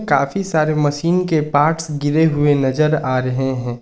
काफी सारे मशीन के पार्ट्स गिरे हुए नजर आ रहे हैं।